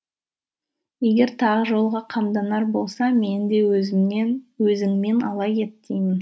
егер тағы жолға қамданар болса мені де өзіңмен ала кет деймін